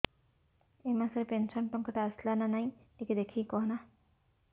ଏ ମାସ ରେ ପେନସନ ଟଙ୍କା ଟା ଆସଲା ନା ନାଇଁ ଟିକେ ଦେଖିକି କହନା